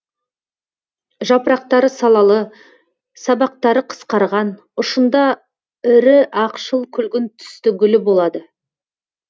жапырақтары салалы сабақтары қысқарған ұшында ірі ақшыл күлгін түсті гүлі болады